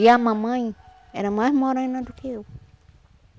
E a mamãe era mais morena do que eu.